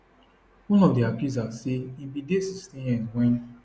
one of di accusers say im bin dey 16 years wen